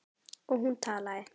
Og hún talaði.